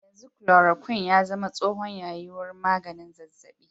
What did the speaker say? Yanzu chloroquine ya zama tsohon yayi wurin maganin zazzabi.